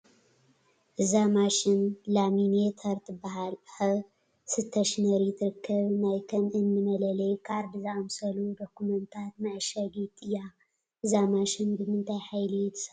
እዛ ማሽን ላሚኔተር ትበሃል ኣብ ስተሽነሪ ትርከብ ናይ ከም እኒ መለለዪ ካርድ ዝኣምሰሉ ዶክመንታት መዓሸጊት እያ፡፡ እዛ ማሽን ብምንታይ ሓይሊ ትሰርሕ?